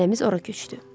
Ailəmiz ora köçdü.